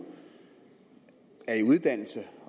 er i uddannelse